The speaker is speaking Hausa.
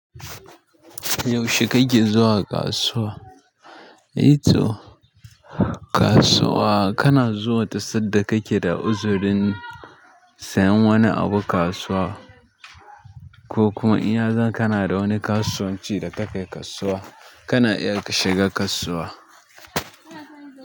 Yaushe kake zuwa kasuwa? To kasuwa kana zuwa ta sadda kake da uzirin sayan wani abu sayen wani abu kasuwa ko kuma in yazan kana da wani kasuwanci da ka kai kasuwa, kana iya shiga kasuwa.